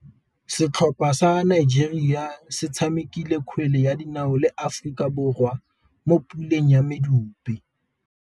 Setlhopha sa Nigeria se tshamekile kgwele ya dinaô le Aforika Borwa mo puleng ya medupe.